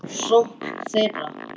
sókn þeirra?